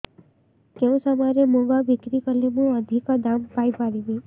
କେଉଁ ସମୟରେ ମୁଗ ବିକ୍ରି କଲେ ମୁଁ ଅଧିକ ଦାମ୍ ପାଇ ପାରିବି